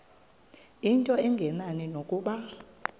into engenani nokuba